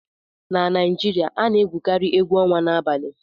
na Naijiria a na-egwukarị egwu ọnwa n'abalị